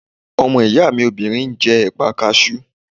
Ọmọ ìyá mi obìnrin ń jẹ́ ẹ̀pà kasú